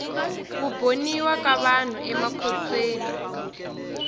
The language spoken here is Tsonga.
ku boniwa ka vanhu amakhotsweni